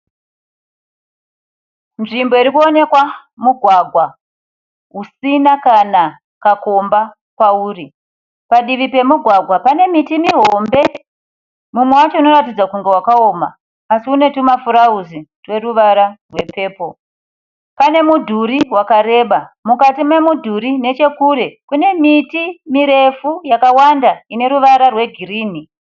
Nzvimbo iri kunoonekwa mugwagwa usina kana kakomba pauri. Padivi pemugwagwa pane miti mihombe mumwe wacho unoratidza kunge wakaoma asi une tumafurauzi tweruvara rwepepo. Pane mudhuri wakareba mukati memudhuri nechekure kune miti mirefu yakawanda ine ruvara rwegirini.